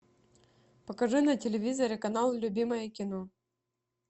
покажи на телевизоре канал любимое кино